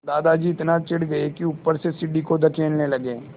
दादाजी इतना चिढ़ गए कि ऊपर से सीढ़ी को धकेलने लगे